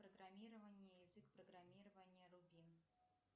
программирование язык программирования рубин